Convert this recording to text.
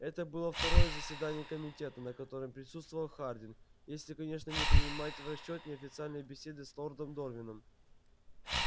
это было второе заседание комитета на котором присутствовал хардин если конечно не принимать в расчёт неофициальные беседы с лордом дорвином